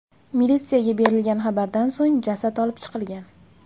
Militsiyaga berilgan xabardan so‘ng jasad olib chiqilgan.